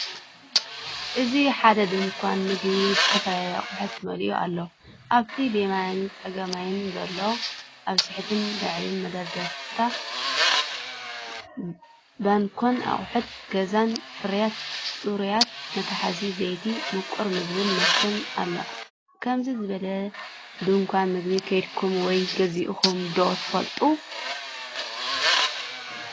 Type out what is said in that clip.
እዚ ሓደ ድኳን ምግቢ ብዝተፈላለዩ ኣቑሑት መሊኡ ኣሎ። ኣብቲ ብየማንን ጸጋምን ዘሎ፡ ኣብ ትሑትን ልዑልን መደርደሪታት ባኖክን ኣቑሑት ገዛን፡ ፍርያት ጽሬት፡ መትሓዚ ዘይቲ፡ ምቁር ምግቢን መስተ ኣሎ። ከምዚ ዝበለ ድኳን ምግቢ ከይድኩም ወይስ ገዚእኩም ዶ ትፈልጡ?